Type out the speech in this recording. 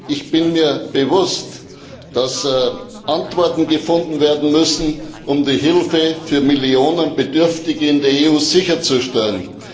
Ich bin mir bewusst, dass Antworten gefunden werden müssen, um die Hilfe für Millionen Bedürftige in der EU sicherzustellen.